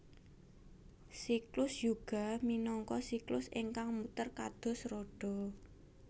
Siklus Yuga minangka siklus ingkang muter kados roda